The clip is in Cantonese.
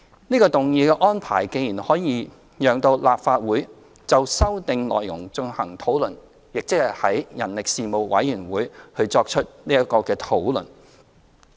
這項議案的安排，既可以讓立法會就修訂內容進行討論，即在人力事務委員會作出討論。